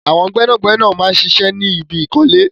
Àwọn gbẹ́nàgbẹ́nà máa ń ṣiṣẹ́ ní ibi ìkọ́lé